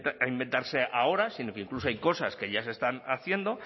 a inventarse ahora sino que incluso hay cosas que ya se están haciendo